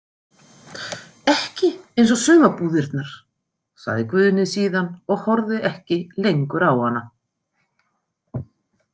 Ekki eins og sumarbúðirnar, sagði Guðný síðan og horfði ekki lengur á hana.